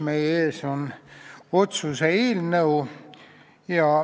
Meie ees on otsuse eelnõu.